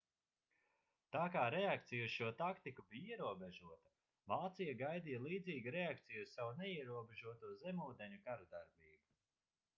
tā kā reakcija uz šo taktiku bija ierobežota vācija gaidīja līdzīgu reakciju uz savu neierobežoto zemūdeņu karadarbību